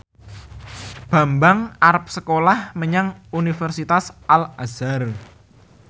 Bambang arep sekolah menyang Universitas Al Azhar